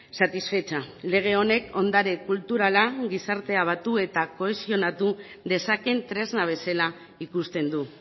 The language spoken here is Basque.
satisfecha lege honek ondare kulturala gizartea batu eta kohesionatu dezaken tresna bezala ikusten du